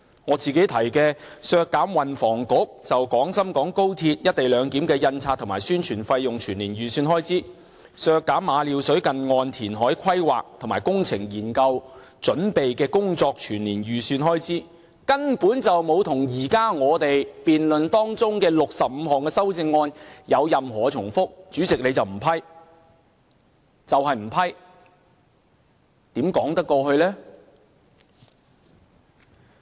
我提出的"削減運輸及房屋局就廣深港高鐵一地兩檢的印刷和宣傳費用全年預算開支"，以及"削減馬料水近岸填海規劃和工程研究準備工作全年預算開支"，根本沒有與我們現時辯論中的65項修正案有任何重複，但主席你就是不批，就是不批，這如何說得過去？